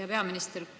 Hea peaminister!